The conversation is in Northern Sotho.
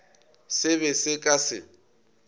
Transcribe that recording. se be se ka se